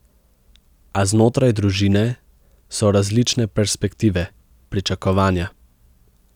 A znotraj družine so različne perspektive, pričakovanja.